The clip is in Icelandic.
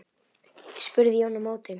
spurði Jón á móti.